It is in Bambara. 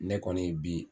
Ne kɔni bi